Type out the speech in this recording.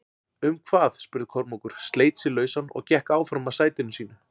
Um hvað spurði Kormákur, sleit sig lausann og gekk áfram að sætinu sínu.